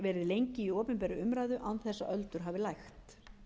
lengi í opinberri umræðu án þess að öldur hafi lægt